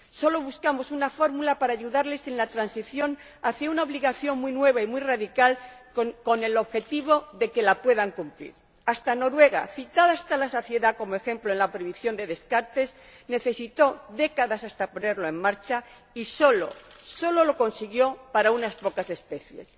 Solo buscamos una fórmula para ayudarles en la transición hacia una obligación muy nueva y muy radical con el objetivo de que la puedan cumplir. Incluso Noruega, citada hasta la saciedad como ejemplo en la prohibición de los descartes, necesitó décadas hasta ponerlo en marcha y solo lo consiguió para unas pocas especies.